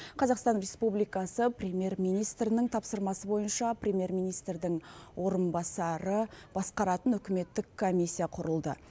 қазақстан республикасы премьер министрінің тапсырмасы бойынша премьер министрдің орынбасары басқаратын үкіметтік комиссия құрылды